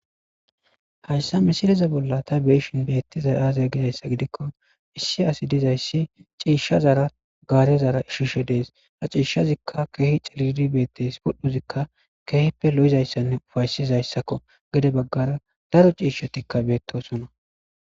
Hayssa misiliza bolla ta beyishin beettiza aaze gizayssa gidikko issi asi dizayssi ciishshazara gaarezara ishishe dees. a ciishshazikka keehi ciliri beettes pudhuzikka keehippe lo'izayssanne ufaysizayssakko gede baggara daro ciishshotikka beettosona.